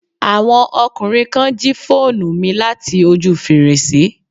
Àwọn ọkùnrin kan jí phonu mi láti ojú fèrèsé